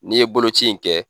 N'i ye boloci in kɛ